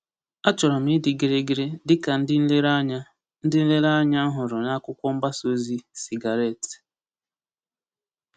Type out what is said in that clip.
Achọrọ m ịdị gịrịgịrị dị ka ndị nlereanya ndị nlereanya m hụrụ n’akwụkwọ mgbasa ozi sigaret.